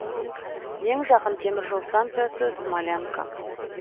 ең жақын темір жол станциясы смолянка